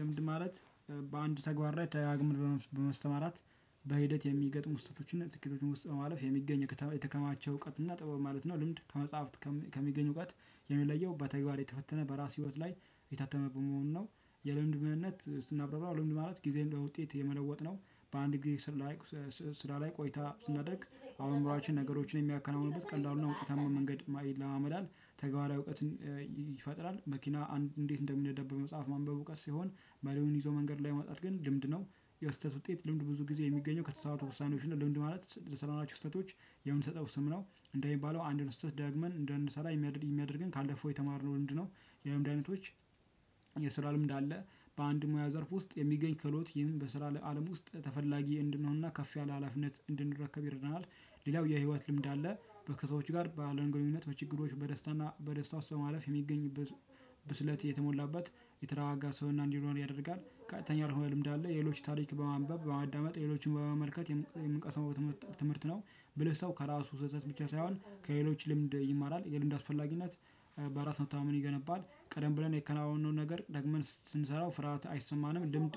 ልምድ ማለት በአንድ ተግባር ደጋግመህ በመስተማራት በሂደት የሚገጥሙ ስሕተቶችን በስኬቶች ውስጥ በማለፍ የሚገኝ የተከማቸ እውቀት እና ጥበብ ማለት ነው። ልምድ ከመጽሐፍት ከሚገኝ እውቀት የሚለየው በተግባር የተፈተነ በራስ ህይወት ላይ የታተመበት መሆኑ ነው። የልምድ ምንነት ስናብራብራው ልምድ ማለት ጊዜን ለውጤት የመለወጥ ነው። በአንድ ጊዜ ስራ ላይ ስራ ላይ ቆይታ ስናደርግ አሁን ኑራችን ነገሮችን የሚያከናውኑበት ቀላሉና ውጤታማ መንገድ ማይል የለማመዳል ተግባሪያዊ እውቀትን ይፈጥራል። መኪና እንዴት እንደሚነዳ በመጸሃፍ ማንበብ እውቀት ሲሆን መሪዉን ይዞ መንገድ ላይ መውጣት ግን ልምድ ነው። የስህተት ውጤት ልምድ ብዙ ጊዜ የሚገኘው ከተሳሳቱ ውሳኔዎች ነው። ልምድ ማለት ለሰራናቸው ስህተቶች የምንሰጠው ስም ነው። እንደሚባለው አንድን ስህተት ደግመን እንዳንሰራ የሚያደርግን ካለፈው የተማርነው ልምድ ነው። የልምድ አይነቶች። የስራ ልምድ አለ በአንድ ሞያ ዘርፍ ውስጥ የሚገኝ ከሎት ይህን በስራ ለአለም ውስጥ ተፈላጊ እንድንሆንና ከፍ ያለ ሀላፊነት እንድንረከብ ይረዳናል። ሌላው የህይወት ልምድ አለ። ከሰዎች ጋር በአለን ግንኙነት በችግሮች በደስታና በደስታ ውስጥ በማለፍ የሚገኝበት ብስለት የተሞላበት የተረጋጋ ሰብና እንዲኖር ያደርጋል። ቀጥተኝ ያልሆነ ልምድ አለ። የሌሎች ታሪክ በማንበብ በማዳመጥ ሌሎችን በመመልከት የምንቀሳው ትምህርት ነው። ብለህ ሰው ከራሱ ስህተት ብቻ ሳይሆን ከሌሎች ልምድ ይማራል። የልምድ አስፈላጊነት በራስ መታማመንን ይገነባል። ቀደም ብለን የከነዋወነውን ነገር ደግመን ስንሰራው ፍርሃት አይሰማንም ልምድ